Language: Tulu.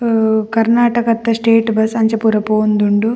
ಅಹ್ ಕರ್ನಾಟಕದ ಸ್ಟೇಟ್ ಬಸ್ಸ್ ಅಂಚ ಪೂರ ಪೋವೊಂದುಂಡು.